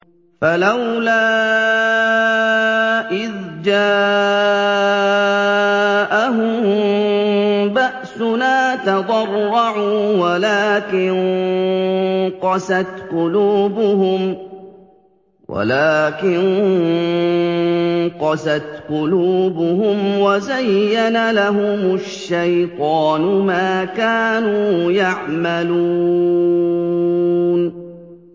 فَلَوْلَا إِذْ جَاءَهُم بَأْسُنَا تَضَرَّعُوا وَلَٰكِن قَسَتْ قُلُوبُهُمْ وَزَيَّنَ لَهُمُ الشَّيْطَانُ مَا كَانُوا يَعْمَلُونَ